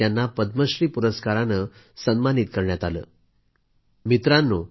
त्यावेळीच त्यांना पद्मश्री सन्मान बहाल करण्यात येत होता